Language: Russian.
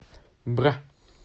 бра